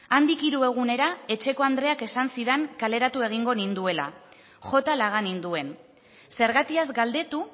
handik hiru egunera etxeko andreak esan zidan kaleratu egingo ninduela jota laga ninduen zergatiaz galdetu